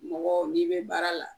Mɔgɔ n'i be baara la